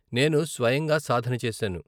నేను స్వయంగా సాధన చేశాను.